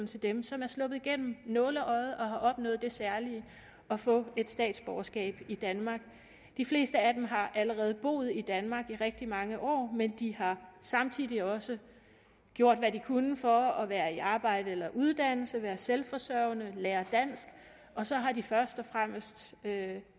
til dem som er sluppet igennem nåleøjet og har opnået det særlige at få et statsborgerskab i danmark de fleste af dem har allerede boet i danmark i rigtig mange år men de har samtidig også gjort hvad de kunne for at være i arbejde eller under uddannelse være selvforsørgende lære dansk og så har de først og fremmest